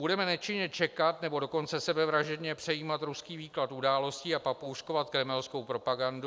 Budeme nečinně čekat, nebo dokonce sebevražedně přejímat ruský výklad událostí a papouškovat kremelskou propagandu?